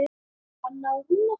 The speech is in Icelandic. Hanna og Rúnar.